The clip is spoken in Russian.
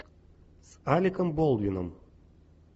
с алеком болдуином